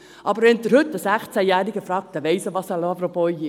Fragt man aber heute einen 16-Jährigen, so weiss er, was ein Loverboy ist.